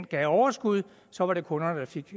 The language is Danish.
gav overskud så var det kunderne der fik